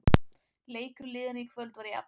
Leikur liðanna í kvöld var jafn